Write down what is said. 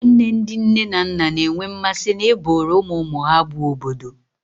Ụmụnne ndị nne na nna na-enwe mmasị n'ịbụụrụ ụmụ ụmụ ha abụ obodo